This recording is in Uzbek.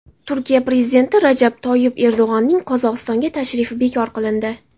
Turkiya prezidenti Rajab Toyyib Erdo‘g‘onning Qozog‘istonga tashrifi bekor qilindi .